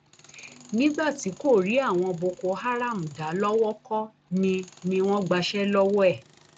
nígbà tí kò rí àwọn boko haram dá lowó kọ ni ni wọn gbàṣẹ lọwọ ẹ